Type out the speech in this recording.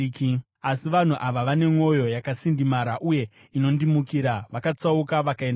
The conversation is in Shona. Asi vanhu ava vane mwoyo yakasindimara uye inondimukira; vakatsauka vakaenda kure.